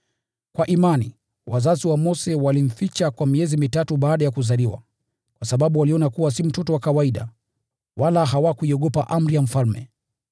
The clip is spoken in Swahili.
Kwa imani, wazazi wa Mose walimficha kwa miezi mitatu baada ya kuzaliwa, kwa sababu waliona kuwa si mtoto wa kawaida, wala hawakuiogopa amri ya mfalme.